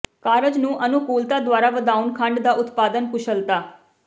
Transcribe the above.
ਕਾਰਜ ਨੂੰ ਅਨੁਕੂਲਤਾ ਦੁਆਰਾ ਵਧਾਉਣ ਖੰਡ ਦਾ ਉਤਪਾਦਨ ਕੁਸ਼ਲਤਾ